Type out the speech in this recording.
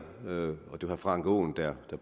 om frank aaen